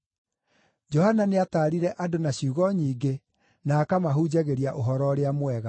Johana nĩataarire andũ na ciugo nyingĩ na akamahunjagĩria Ũhoro-ũrĩa-Mwega.